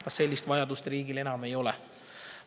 Kas sellist vajadust riigil ei ole enam?